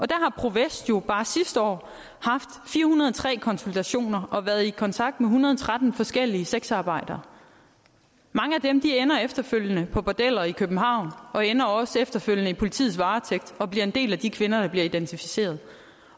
der har pro vest jo bare sidste år haft fire hundrede og tre konsultationer og været i kontakt med en hundrede og tretten forskellige sexarbejdere mange af dem ender efterfølgende på bordeller i københavn og ender også efterfølgende i politiets varetægt og bliver en del af de kvinder der bliver identificeret